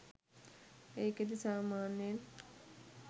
ඒකෙදි සාමාන්‍යයෙන්